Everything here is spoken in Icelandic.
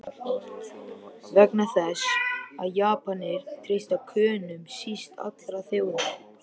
Vegna þess, að Japanir treysta Könum síst allra þjóða!